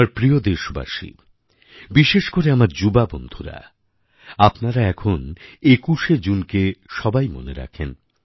আমার প্রিয় দেশবাসী বিশেষ করে আমার যুবা বন্ধুরা আপনারা এখন ২১শে জুনকে সবাই মনে রাখেন